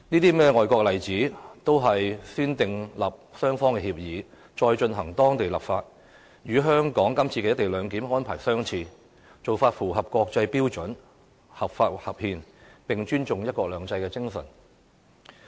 這些外國例子，都是先訂立雙方協議，再進行當地立法，與香港今次的"一地兩檢"安排相似，做法符合國際標準，合法合憲，亦尊重"一國兩制"精神。